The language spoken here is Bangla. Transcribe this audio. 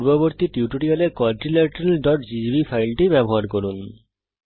পূর্ববর্তী টিউটোরিয়াল এর quadrilateralজিজিবি ফাইলটি ব্যবহার করুন